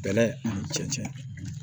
Bɛlɛ ani cɛncɛn